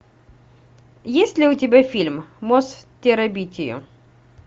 есть ли у тебя фильм мост в терабитию